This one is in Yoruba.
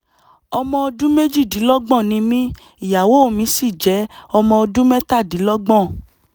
ọmọ ọdún méjìdínlọ́gbọ̀n ni mí ìyàwó mi sì jẹ́ ọmọ ọdún mẹ́tàdínlọ́gbọ̀n